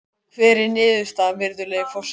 Og hver er niðurstaðan, virðulegi forseti?